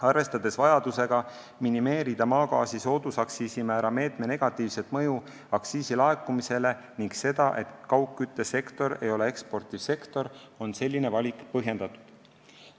Arvestades vajadusega minimeerida maagaasi soodusaktsiisi määra meetme negatiivset mõju aktsiisilaekumisele ning seda, et kaugküttesektor ei ole ekspordisektor, on selline valik põhjendatud.